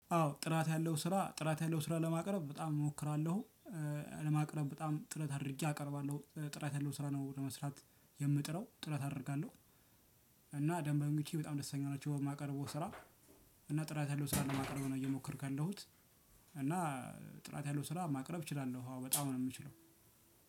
አዎ ጥራት ያለው ስራ ጥራት ያለው ስራ ለማቅረብ በጣም እሞክራለሁ ለማቅረብ በጣም ጥረት አድርጌ አቀርባለሁ ጥራት ያለው ስራ ነው ለመስራት የምጥረው ጥረት አደርጋለሁ። እና ደንበኞቼ በጣም ደስተኛ ናቸው በማቀርበው ስራ። እና ጥራት ያለው ስራ ለማቅረብ ነው እየሞከርኩ ያለሁት። እና ጥራት ያለው ስራ ማቅረብ እችላለሁ። አዎ በጣም ነው ምችለው።